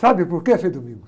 Sabe por que, Frei Domingos?